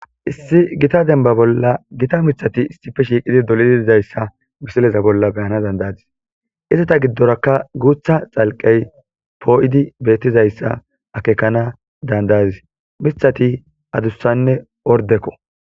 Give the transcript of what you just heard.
issi gita denba bolla gita mithati issipe shiiqidi dolidi dizayssa misileza bolla be7ana dandayadis izeta giddorakka guutha xalqqey poo7idi beettizayssa akekana dandayadis mithati adussanne ordekko.